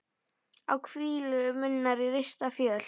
á hvílu minnar rista fjöl